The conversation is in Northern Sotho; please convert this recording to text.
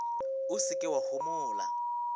o se ke wa homola